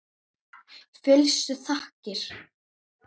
Fyllstu þakkir.